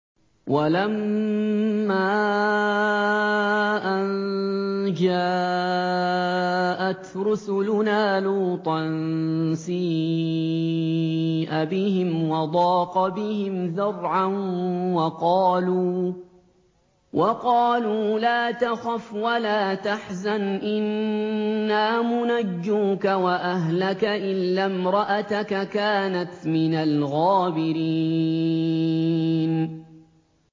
وَلَمَّا أَن جَاءَتْ رُسُلُنَا لُوطًا سِيءَ بِهِمْ وَضَاقَ بِهِمْ ذَرْعًا وَقَالُوا لَا تَخَفْ وَلَا تَحْزَنْ ۖ إِنَّا مُنَجُّوكَ وَأَهْلَكَ إِلَّا امْرَأَتَكَ كَانَتْ مِنَ الْغَابِرِينَ